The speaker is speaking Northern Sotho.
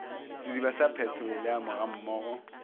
sediba sa petroleamo ga mmogo